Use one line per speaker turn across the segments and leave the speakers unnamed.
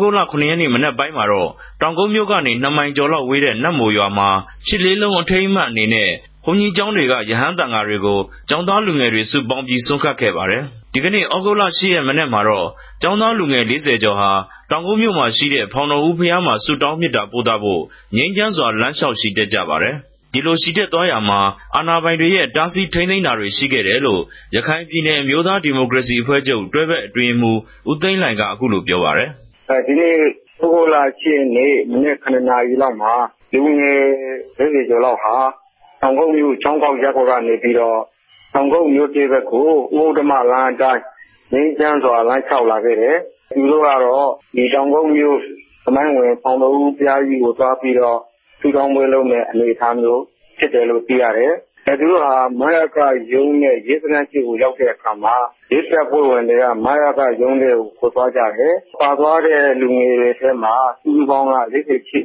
ဂုတ်လ ၇ ရက်နေႛ မနက်ပိုင်းမြာ တောင်ကုတ်္ဘမိြႛကနေ ၂ မိုင်ကေဵာ်လောက်ဝေးတဲ့ နတ်မိုရြာမြာ ရြစ်လေးလုံး အထိမ်းအမြတ်အနေနဲႛ ဘုန်ဋ္ဌကီးကေဵာင်းတေကြ ရဟန်းသံဃာ တေကြို ကေဵာင်းသားလူငယ်တြေ စုပေၝင်း္ဘပီး ဆြမ်းကပ်ခဲ့ပၝတယ်။ ုသဂုတ် ၈ ရက် မနက်မြာတော့ ကေဵာင်းသားလူငယ် ၄၀ ကေဵာ်ဟာ တောင်ကုတ်္ဘမိြႛရြိတဲ့ ဖောင်တော်ဦး ဘုရားမြာ ဆုတောင်းမေတ္ဇာပိုႛသဖိုႛ ္ဘငိမ်းခဵမ်းစြာ လမ်းလ္တေွာက် ခဵီတက် ုကပၝတယ်။ ဒီလိုခဵီတက်သြားရာမြာ အာဏာပိုင်တေရြဲ့ တားဆီး ထိန်းသိမ်းတာတြေ ရြိခဲ့တယ်လိုႛ ရခိုင်ူပည်နယ် အမဵိြးသားဒီမိုကရေစီ အဖြဲႛခဵြပ် တြဲဖက်အတြင်းရေးမြြး ဦးသိန်းလိြင်က ေူပာပၝတယ်။ ဦ
းသိန်းလိြင်။ ။ ုသဂုတ်လ ၈ ရက်နေႛ မနက် ၇ နာရီလောက်မြာ လူငယ် ၄၀ ကေဵာ် လောက်ဟာ တောင်ကုတ်္ဘမိြႛ ခေဵာင်းဂေၝက်ရပ်ကြက်ကန္ဘေပီးတော့ တောင်ကုတ်္ဘမိြႛသစ် ဖက်ကို ဦးဥတ္ဇမ လမ်းအတိုင်း ္ဘငိမ်းခဵမ်းစြာ လမ်းလ္တေွာက်လာခဲ့တယ်၊ သူတိုႛကတော့ ဒီတောင်ကုတ်္ဘမိြႛ သမိုင်းဝင် ဖောင်တော်ဦးဘုရားဋ္ဌကီးကို သြား္ဘပီးတော့ ဆုတောင်းပြဲလုပ် မည့် အနေအထားမဵိြးူဖစ်တယ်လိုႛ သိရတယ်၊ သူတိုႛဟာ မယကရုံးနဲႛ ရဲစခန်းရြေႛကို ရောက်တဲ့အခၝမြာ ရဲတပ်ဖြဲႛဝင်တေကြ မယက ရုံးထဲကို ခေၞသြားုကတယ်၊ ပၝသြားတဲ့ လူငယ်တေထြဲမြာ စုစုပေၝင်းက ၄၈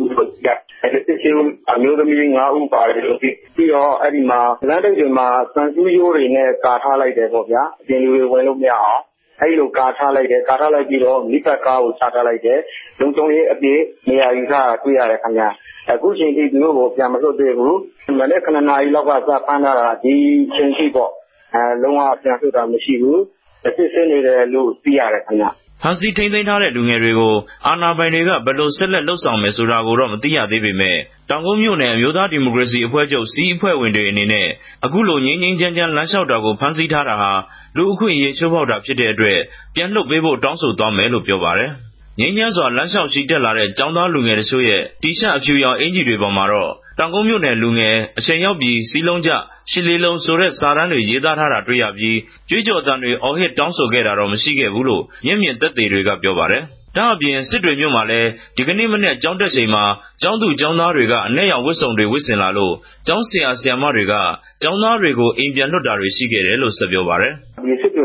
ဦးလိုႛ သိရတယ်၊ အဲဒီ ၄၈ ဦးမြာ အမဵိြးသမီးက ၅ ဦး ပၝတယ်လိုႛ သိရတယ်။ ္ဘပီးတော့ လမ်းထိပ်တေမြြာ သံဆူးဋ္ဌကိြးတေနြဲႛ ကာထားလိုက်တယ် ပေၝ့ဗဵား၊ အူပင်လူတြေ ဝင်လိုႛမရအောင်၊ အဲ့လိုကာထားလိုက်တယ်၊ ကာထားလိုက်္ဘပီး တော့ မီးသတ်ကားကို ခဵထားလိုက်တယ်၊ လုံူခံြရေးအူပည့် နေရာယူထားတာ တြေႛရတယ် ခင်ဗဵ၊ အခုခဵိန်ထိ သူတိုႛကို ူပန်မလြတ်သေးဘူး၊ မနက် ၇ နာရီလောက် ကတည်းက ဖမ်းထားတာ ဒီအခဵိန်ထိပေၝ့ လုံး၀ ူပန်လြတ်တာ မရြိဘူး၊ စစ်ဆေးနေတယ်လိုႛ သိရတယ်။
ဖမ်းဆီးထိန်းသိမ်းထားတဲ့ လူငယ်တေကြိုတော့ အာဏာပိုင်တေကြ ဘယ်လို ဆက်လက် လုပ်ဆောင်မယ် ဆိုတာကိုတော့ မသိရသေးပေမဲ့ တောင်ကုတ်္ဘမိနြယ် အမဵိြးသား ဒီမိုကရေစီ အဖဲြႛခဵြပ် စည်းအဖြဲႛဝင်တြေ အနေနဲႛ အခုလို ္ဘငိမ်း္ဘငိမ်းခဵမ်းခဵမ်း လမ်းလ္တေွာက် တာကို ဖမ်းဆီးထားတာဟာ လူအခြင့်အရေးခဵိြးဖောက်တာ ူဖစ်တဲ့အတြက် ူပန်လြတ်ပေးဖိုႛ တောင်းဆိုသြားမယ်လိုႛ ေူပာပၝတယ်။ ္ဘငိမ်းခဵမ်းစြာ လမ်းလ္တေွာက်ခဵီတက်လာတဲ့ ကေဵာင်းသားလူငယ်တစ်ခဵိြႛရဲ့ တီရြပ်အူဖြရောင် အကဵီတြေပေၞ မြာတော့ တောင်ကုတ်္ဘမိြႛနယ်လူငယ်၊ အခဵိန်ရောက်္ဘပီး စည်းလုံးုက၊ ရြစ်လေးလုံး ဆိုတဲ့ စာတမ်းတြေ ရေးသားထား တြေႛရ္ဘပီး ေုကြးေုကာ်သံတြေ အော်ဟစ်တာတော့ မရြိခဲ့ဘူးလိုႛ မဵက်ူမင် သက်သေ တေကြ ေူပာပၝတယ်။ ဒၝ့အူပင် စစ်တ္ဘြေမိြႛမြာလည်း မနက်ကေဵာင်းတက်ခဵိန်မြာ ကေဵာင်းသူ ကေဵာင်းသားတေကြ အနက် ရောင် ဝတ်စုံတေဝြတ်ဆင်လာလိုႛ ကေဵာင်းဆရာ ဆရာမတေကြ ကေဵာင်းသားတေကြို အိမ် ူပန်လြတ်တာတြေ ရြိခဲ့တယ်လိုႛ ဆက်ေူပာပၝတယ်
။ စစ်တ